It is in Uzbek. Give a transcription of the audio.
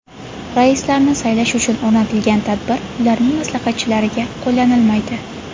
Raislarni saylash uchun o‘rnatilgan tartib ularning maslahatchilariga qo‘llanilmaydi.